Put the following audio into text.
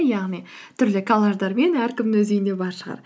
яғни түрлі коллаждармен әркімнің өз үйінде бар шығар